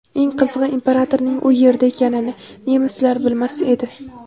Eng qizig‘i, imperatorning u yerda ekanini nemislar bilmas edi.